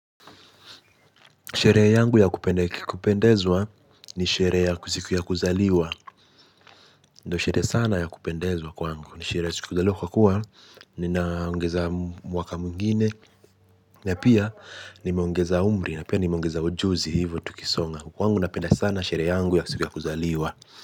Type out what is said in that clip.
Sherehe yangu ya kupendezwa ni sherehe ya ziku ya kuzaliwa. Ndo sherehe sana ya kupendezwa kwangu. Sherehe ya kuzaliwa kwa kuwa ninaongeza mwaka mwingine. Na pia nimeongeza umri. Na pia nimeongeza ujuzi hivyo tukisonga. Kwangu napenda sana sherehe yangu ya siku ya kuzaliwa.